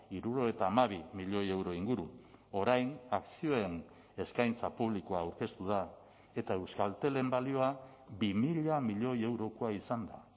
hirurogeita hamabi milioi euro inguru orain akzioen eskaintza publikoa aurkeztu da eta euskaltelen balioa bi mila milioi eurokoa izan da